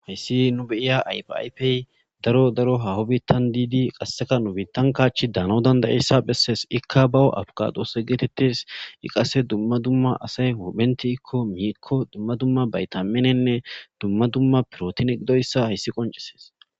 Hayssi nu beiya ipaipey daro daro hahobittan diidi qasseka nubitan kaachi daano dandayeyssa bessees ikka bao abkadose geetettes iqase dumma dumma asay hodphenti ikko miikko dumma dumma baytaminenne dumma dumma pirootin qidoyssa hayssi qoncesees.